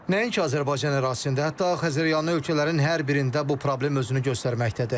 Nəinki Azərbaycan ərazisində, hətta Xəzəryanı ölkələrin hər birində bu problem özünü göstərməkdədir.